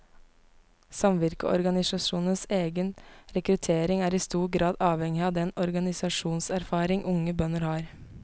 Samvirkeorganisasjonenes egen rekruttering er i stor grad avhengig av den organisasjonserfaring unge bønder har.